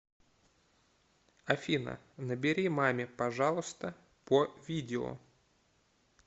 афина набери маме пожалуйста по видео